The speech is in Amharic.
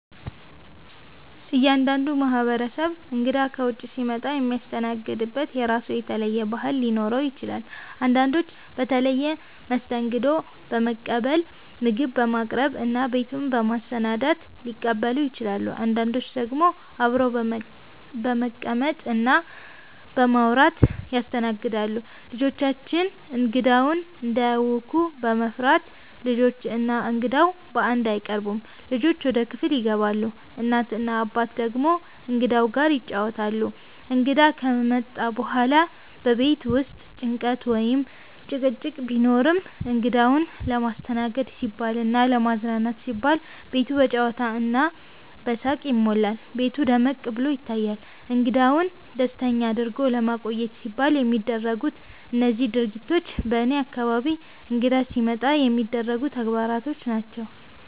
እያንዳንዱ ማህበረሰብ እንግዳ ከውጭ ሲመጣ የሚያስተናግድበት የራሱ የተለየ ባህል ሊኖረው ይችላል። አንዳንዶች በተለየ መስተንግዶ በመቀበል፣ ምግብ በማቅረብ እና ቤቱን በማሰናዳት ሊቀበሉ ይችላሉ። አንዳንዶች ደግሞ አብረው በመቀመጥ እና በማውራት ያስተናግዳሉ። ልጆቻችን እንግዳውን እንዳያውኩ በመፍራት፣ ልጆች እና እንግዳው በአንድ አይቀርቡም፤ ልጆች ወደ ክፍል ይገባሉ፣ እናት እና አባት ደግሞ እንግዳው ጋር ይጫወታሉ። እንግዳ ከመጣ በኋላ በቤት ውስጥ ጭንቀት ወይም ጭቅጭቅ ቢኖርም፣ እንግዳውን ለማስተናገድ ሲባልና ለማዝናናት ሲባል ቤቱ በጨዋታ እና በሳቅ ይሞላል፤ ቤቱ ደመቅ ብሎ ይታያል። እንግዳውን ደስተኛ አድርጎ ለማቆየት ሲባል የሚደረጉት እነዚህ ድርጊቶች በእኔ አካባቢ እንግዳ ሲመጣ የሚደረጉ ተግባሮች ናቸው።